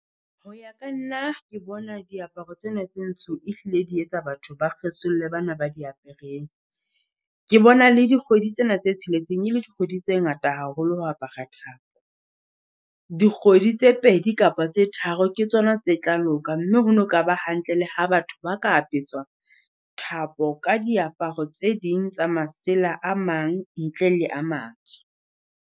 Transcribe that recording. Hoya ka nna ke bona diaparo tsena tse ntsho e hlile di etsa batho ba kgesolle bana ba di apereng. Ke bona le dikgwedi tsena tse tsheletseng e le dikgwedi tse ngata haholo ho apara thapo. Dikgwedi tse pedi kapa tse tharo ke tsona tse tla loka, mme ho no ka ba hantle le ha batho ba ka apeswa thapo ka diaparo tse ding tsa masela a mang ntle le a matsho.